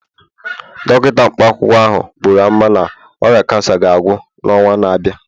Dọkịta mkpa akwụkwọ ahụ buru amụma na ọrịa kansa ga-agwọ n'ọnwa na-abịa